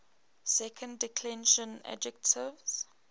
second declension adjectives